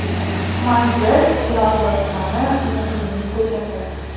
Manzil: Chilonzor tumani, Muqimiy ko‘chasi.